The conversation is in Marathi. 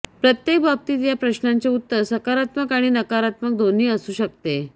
प्रत्येक बाबतीत या प्रश्नाचे उत्तर सकारात्मक आणि नकारात्मक दोन्ही असू शकते